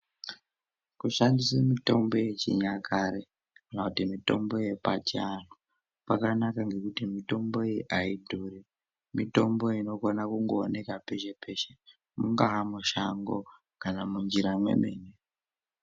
Kushandise mitombo yechinyakare kana kuti mitombo yepachiantu kwakanaka ngekuti mitombo iyi aidhuri. Mitombo iyi inogona kungooneka peshe peshe mungaa mushango kana munjira mwemene.